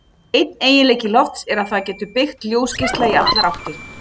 Einn eiginleiki lofts er að það getur beygt ljósgeisla í allar áttir.